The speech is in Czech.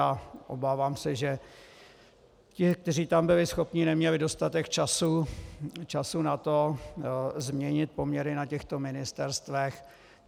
A obávám se, že ti, kteří tam byli schopní, neměli dostatek času na to, změnit poměry na těchto ministerstvech.